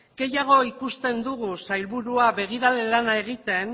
gehiago ikusten dugu sailburua begirale lana egiten